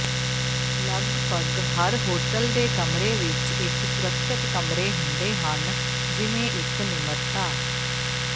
ਲਗਪਗ ਹਰ ਹੋਟਲ ਦੇ ਕਮਰੇ ਵਿਚ ਇਕ ਸੁਰੱਖਿਅਤ ਕਮਰੇ ਹੁੰਦੇ ਹਨ ਜਿਵੇਂ ਇਕ ਨਿਮਰਤਾ